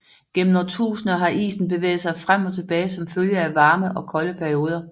Gennem årtusinder har isen bevæget sig frem og tilbage som følge af varme og kolde perioder